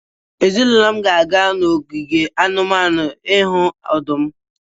Ezinụlọ m ga-aga n'ogige anụmanụ ịhụ ọdụm.